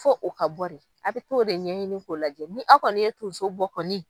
Fo o ka bɔ de, a bɛ t'o de ɲɛɲini k'o lajɛ ni aw kɔni ye tonso bɔ kɔni.